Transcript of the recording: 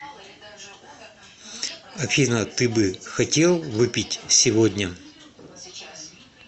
афина ты бы хотел выпить сегодня